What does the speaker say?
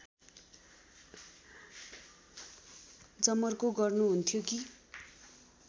जमर्को गर्नुहुन्थ्यो कि